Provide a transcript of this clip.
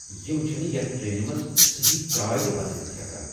یِم چھِنہٕ یتھ ٹرینہِ منز سہی چاے تہِ بنٲوِتھ ہیكان !